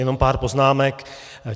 Jenom pár poznámek.